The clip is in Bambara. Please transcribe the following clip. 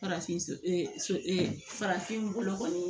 Farafin farafin bolo kɔni